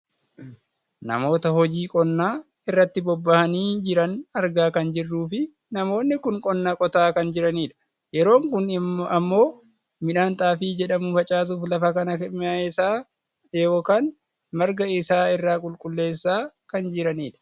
namoota hojii qonnaa irratti bobbahanii jiran argaa kan jirruufi namoonni kun qonna qotaa kan jiranidha. yeroon kun ammoo midhaan xaafii jedhamu facaasuuf lafa kana meesaa yookaan marga isaa irraa qulqulleessaa kan jiranidha.